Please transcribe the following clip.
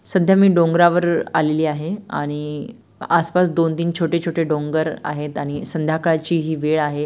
सध्या मी डोंगरावर आलेली आहे आणि आसपास दोन तीन छोटे छोटे डोंगर आहेत आणि संध्याकाळची ही वेळ आहे.